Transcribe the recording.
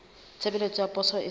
tshebeletso ya poso e sa